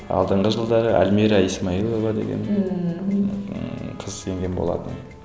алдыңғы жылдары альмира исмайлова деген ыыы қыз енген болатын